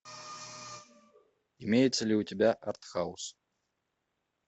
имеется ли у тебя арт хаус